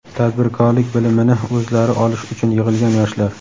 tadbirkorlik bilimini o‘zlari olish uchun yig‘ilgan yoshlar.